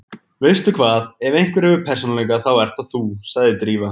Veistu hvað, ef einhver hefur persónuleika þá ert það þú- sagði Drífa.